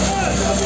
Vay.